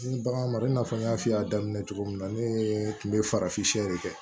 Ni bagan ma mara i n'a fɔ n y'a f'i ye a daminɛ cogo min na ne tun be farafin sɛ de kɛ